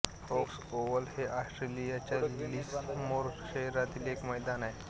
Woakes Oval हे ऑस्ट्रेलियाच्या Lismore शहरातील एक मैदान होते